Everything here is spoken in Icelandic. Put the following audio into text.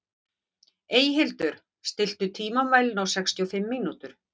Eyhildur, stilltu tímamælinn á sextíu og fimm mínútur.